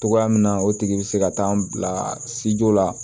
Togoya min na o tigi be se ka taa n bila sejɔ la